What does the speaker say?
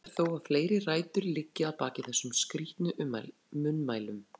Mögulegt er þó að fleiri rætur liggi að baki þessum skrítnu munnmælum.